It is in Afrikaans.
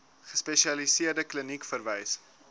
gespesialiseerde kliniek verwys